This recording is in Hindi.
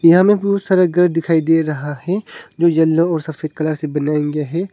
यहाँ में बहुत सारा घर दिखाई दे रहा है जो यल्लो और सफेद कलर से बनाया गया है।